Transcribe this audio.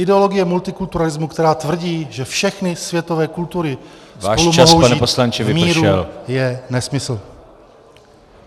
Ideologie multikulturalismu, která tvrdí, že všechny světové kultury spolu mohou žít v míru, je nesmysl.